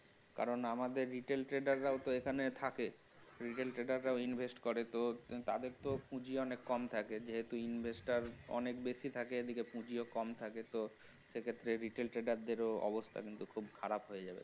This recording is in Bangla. কারণ আমাদের retail trader রাও তো এখানে থাকে retail trader রা invest করে তো তাদের তাদের তো পুজি অনেক কম থাকে যেহেতু investor অনেক বেশি থাকে এদিকে পুজিও অনেক কম থাকে সে ক্ষেত্রে তো retail trader দেরও অবস্থা খুব খারাপ হয়ে যাবে